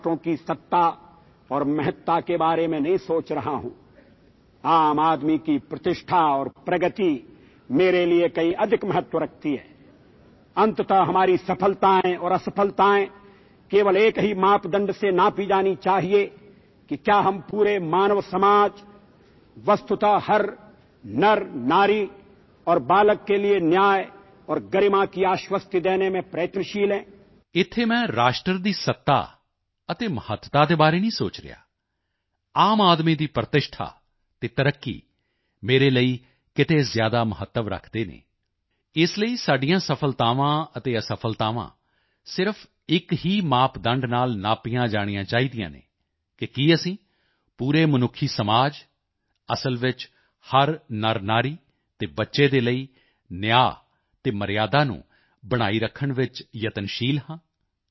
ਇੱਥੇ ਮੈਂ ਰਾਸ਼ਟਰ ਦੀ ਸੱਤਾ ਅਤੇ ਮਹੱਤਤਾ ਦੇ ਬਾਰੇ ਨਹੀਂ ਸੋਚ ਰਿਹਾ ਆਮ ਆਦਮੀ ਦੀ ਪ੍ਰਤਿਸ਼ਠਾ ਅਤੇ ਤਰੱਕੀ ਮੇਰੇ ਲਈ ਕਿਤੇ ਜ਼ਿਆਦਾ ਮਹੱਤਵ ਰੱਖਦੇ ਹਨ ਇਸ ਲਈ ਸਾਡੀਆਂ ਸਫ਼ਲਤਾਵਾਂ ਅਤੇ ਅਸਫ਼ਲਤਾਵਾਂ ਸਿਰਫ਼ ਇੱਕ ਹੀ ਮਾਪਦੰਡ ਨਾਲ ਨਾਪੀਆਂ ਜਾਣੀਆਂ ਚਾਹੀਦੀਆਂ ਹਨ ਕਿ ਕੀ ਅਸੀਂ ਪੂਰੇ ਮਨੁੱਖੀ ਸਮਾਜ ਅਸਲ ਵਿੱਚ ਹਰ ਨਰਨਾਰੀ ਅਤੇ ਬੱਚੇ ਦੇ ਲਈ ਨਿਆਂ ਅਤੇ ਮਰਿਯਾਦਾ ਨੂੰ ਬਣਾਈ ਰੱਖਣ ਵਿੱਚ ਯਤਨਸ਼ੀਲ ਹਾਂ